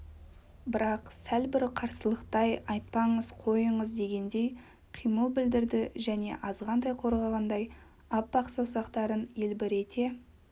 бірақ сәл бір қарсылықтай айтпаңыз қойыңыз дегендей қимыл білдірді және азғантай қорғанғандай аппақ саусақтарын елбірете